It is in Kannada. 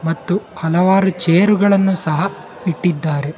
ಮತ್ತು ಹಲವಾರು ಚೇರುಗಳನ್ನು ಸಹ ಇಟ್ಟಿದ್ದಾರೆ.